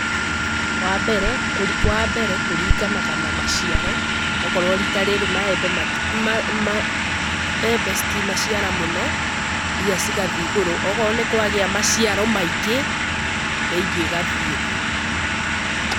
Wa mbere, wa mbere kũringanaga na maciaro, okorwo rita rĩrĩ maembe, mbembe citinaciara mũno mbia cigathiĩ igũrũ, okorwo nĩ kwagĩa maciaro maingĩ mbei ĩgathiĩ thĩ.